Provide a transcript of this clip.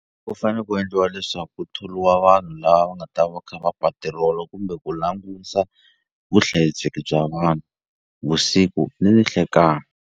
Ku fane ku endliwa leswaku ku tholiwa vanhu lava va nga ta va kha va patirola kumbe ku langusa vuhlayiseki bya vanhu vusiku ni nihlekani.